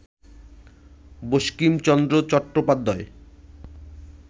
বঙ্কিমচন্দ্র চট্টোপাধ্যায়ের